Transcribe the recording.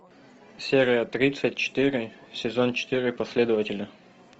серия тридцать четыре сезон четыре последователи